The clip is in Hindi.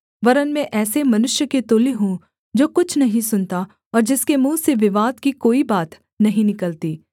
वरन् मैं ऐसे मनुष्य के तुल्य हूँ जो कुछ नहीं सुनता और जिसके मुँह से विवाद की कोई बात नहीं निकलती